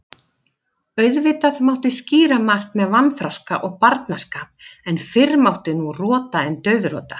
Auðvitað mátti skýra margt með vanþroska og barnaskap, en fyrr mátti nú rota en dauðrota.